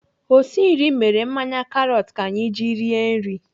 Osi nri mere mmanya karọt ka anyị ji rie nri.